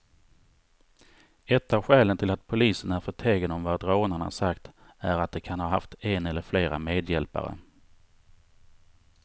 Ett av skälen till att polisen är förtegen om vad rånarna sagt är att de kan ha haft en eller flera medhjälpare.